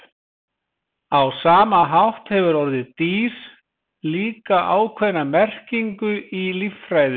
á sama hátt hefur orðið „dýr“ líka ákveðna merkingu í líffræði